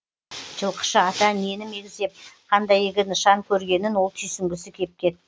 жылқышы ата нені мегзеп қандай игі нышан көргенін ол түйсінгісі кеп кетті